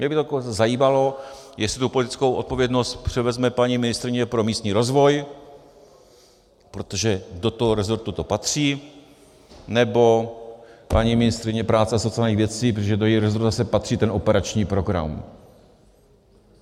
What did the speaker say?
Mě by to zajímalo, jestli tu politickou odpovědnost převezme paní ministryně pro místní rozvoj, protože do toho rezortu to patří, nebo paní ministryně práce a sociálních věcí, protože do jejího rezortu zase patří ten operační program.